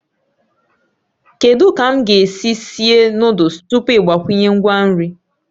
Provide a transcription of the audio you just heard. Kedu ka m ga-esi sie noddles tupu ị gbakwunye ngwa nri?